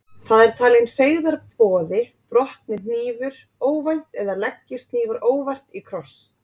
Það er talinn feigðarboði brotni hnífur óvænt eða leggist hnífar óvart í kross.